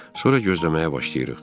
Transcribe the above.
Sonra gözləməyə başlayırıq.